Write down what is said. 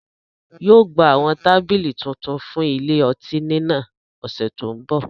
yóò gba awọn tabili tuntun fun ile-ọti ni náà ọsẹ to nbọ.